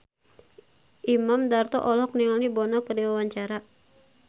Imam Darto olohok ningali Bono keur diwawancara